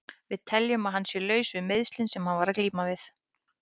Við teljum að hann sé laus við meiðslin sem hann var að glíma við.